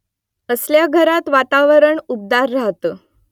असल्या घरात वातावरण ऊबदार राहतं